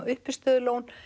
uppistöðulón